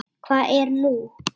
Hvað er nú?